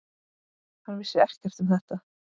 Hann vissi ekkert um þetta.